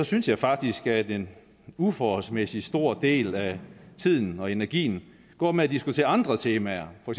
synes jeg faktisk at en uforholdsmæssig stor del af tiden og energien går med at diskutere andre temaer for